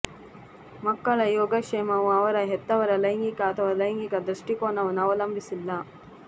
ಮಕ್ಕಳ ಯೋಗಕ್ಷೇಮವು ಅವರ ಹೆತ್ತವರ ಲೈಂಗಿಕ ಅಥವಾ ಲೈಂಗಿಕ ದೃಷ್ಟಿಕೋನವನ್ನು ಅವಲಂಬಿಸಿಲ್ಲ